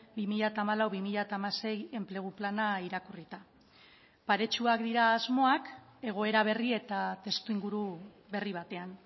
bi mila hamalau bi mila hamasei enplegu plana irakurrita paretsuak dira asmoak egoera berri eta testuinguru berri batean